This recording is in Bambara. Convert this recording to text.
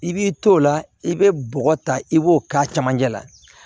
I b'i t'o la i bɛ bɔgɔ ta i b'o k'a cɛmancɛ la